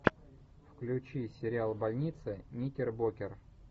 включи сериал больница никербокер